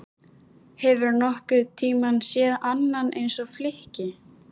Hefurðu nokkurn tíma séð annað eins flykki?